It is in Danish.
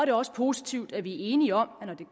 er også positivt at vi er enige om at når det